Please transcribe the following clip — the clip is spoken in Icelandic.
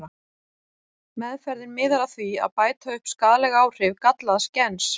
Meðferðin miðar að því að bæta upp skaðleg áhrif gallaðs gens.